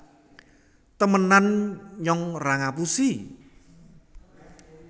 temenan nyong ra ngapusi